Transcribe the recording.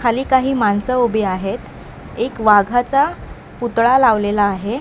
खाली काही माणसं उभी आहेत एक वाघाचा पुतळा लावलेला आहे.